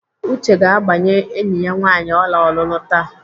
Uche ga-agbanye enyi ya nwaanyị ọla ọlụlụ taa.